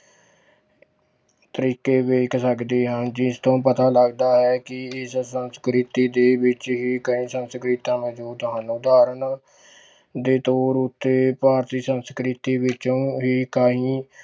ਤਰੀਕੇ ਵੇਖ ਸਕਦੇ ਹਾਂ ਜਿਸ ਤੋਂ ਪਤਾ ਲੱਗਦਾ ਹੈ ਕਿ ਇਸ ਸੰਸਕ੍ਰਿਤੀ ਦੇ ਵਿੱਚ ਹੀ ਕਈ ਸੰਸਕ੍ਰਿਤਾਂ ਮੌਜੂਦ ਹਨ ਉਦਾਹਰਣ ਦੇ ਤੌਰ ਉੱਤੇ ਭਾਰਤੀ ਸੰਸਕ੍ਰਿਤੀ ਵਿੱਚੋਂ ਹੀ ਕਈ